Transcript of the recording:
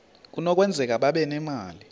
kunokwenzeka babe nemali